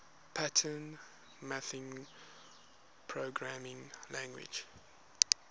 pattern matching programming languages